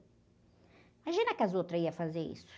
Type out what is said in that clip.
Imagina que as outras iam fazer isso?